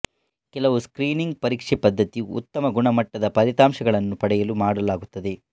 ಕೆಲವು ಸ್ಕ್ರೀನಿಂಗ್ ಪರೀಕ್ಷೆ ಪದ್ದತಿಯು ಉತ್ತಮ ಗುಣಮಟ್ಟದ ಫಲಿತಾಂಶಗಳನ್ನು ಪಡೆಯಲು ಮಾಡಲಾಗುತ್ತದೆ